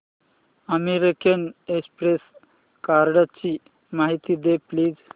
American Express कार्डची माहिती दे प्लीज